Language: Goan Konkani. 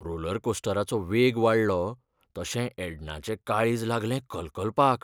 रोलर कोस्टराचो वेग वाडलो तशें एडनाचें काळीज लागलें कलकलपाक.